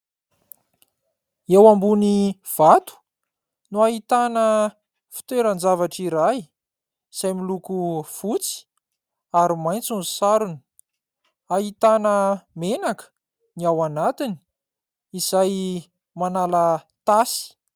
Eo ambony vato no ahitana fitoeran-javatra iray, izay miloko fotsy ary maitso ny sarony. Ahitana menaka ny ao anatiny izay manala tasy.